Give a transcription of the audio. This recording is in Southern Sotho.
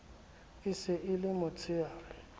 e se e le motsheare